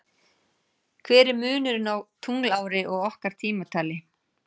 Hver er munurinn á tunglári og okkar tímatali?